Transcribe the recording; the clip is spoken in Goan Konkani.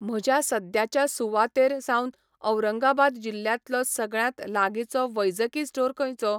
म्हज्या सद्याच्या सुवातेर सावन औरंगाबाद जिल्ल्यातलो सगळ्यांत लागींचो वैजकी स्टोर खंयचो?